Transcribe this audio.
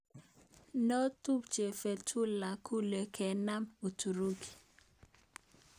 Notumche Fetullah Gulen kenam Uturuki.